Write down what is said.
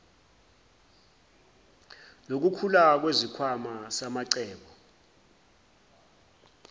lokukhula kwesikhwama samacebo